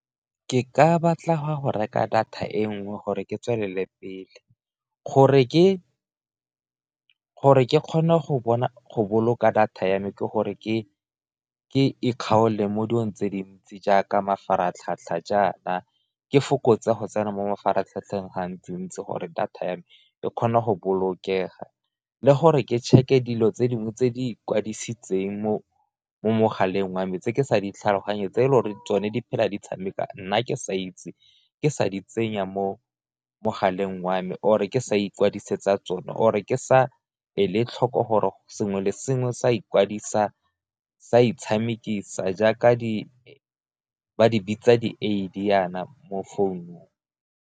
Ke ka batla go reka data e nngwe gore ke tswelele pele, gore ke kgone go boloka data ya me ke gore ke ikgakolose mo dilong tse dintsi jaaka mafaratlhatlha jaana ke fokotsa go tsena mo mafaratlhatlheng gantsi-ntsi, gore data ya me e kgone go bolokega le gore ke check-e dilo tse dingwe tse di ikwadisitseng mo mogaleng wa me tse ke sa di tlhaloganyeng tse e le gore tsone di phela di tshameka nna ke sa itse, ke sa di tsenya mo mogaleng wa me or ke sa ikwadisetsa tsone or-e ke sa ele tlhoko gore sengwe le sengwe sa ikwadisa, sa itshamekisa jaaka ba di bitsa jaana mo founung.